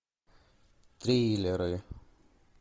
триллеры